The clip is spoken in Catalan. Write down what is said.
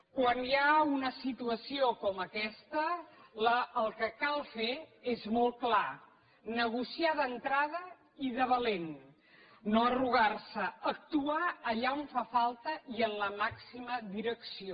quan hi ha una situació com aquesta el que cal fer és molt clar negociar d’entrada i de valent no arrugar se actuar allà on fa falta i amb la màxima direcció